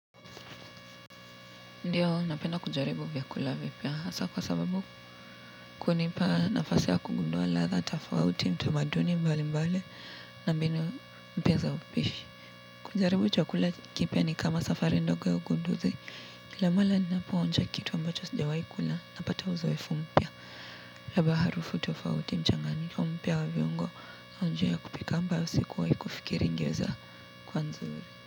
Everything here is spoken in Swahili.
Ndiyo napenda kujaribu vyakula vipya hasa kwa sababu kunipa nafasi ya kugundua ladha tofauti mtamaduni mbali mbali na mbinu mpya za upishi kujaribu chakula kipya ni kama safari ndogo ya ugunduzi kila mara ninapo onja kitu ambacho sijawai kula napata uzoefu mpya labda harufu tofauti mchanganyiko mpya wa viungo na njia ya kupika ambayo sikuwai kufikiri ingeza kuwa nzuri.